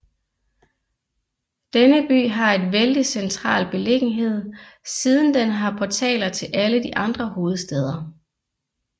Denne by har en vældig central beliggenhed siden den har portaler til alle de andre hovedstader